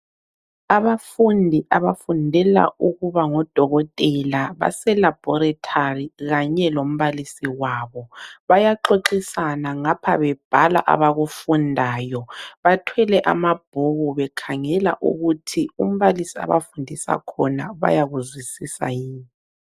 Abafundi abafundela ukuba ngodokotela base laboratory kanye lombalisi wabo. Bayaxoxisana ngapha bebhala abakufundayo. Bathwele amabhuku bekhangela ukuthi umbalisi abafundisa khona bayakuzwisisa yini.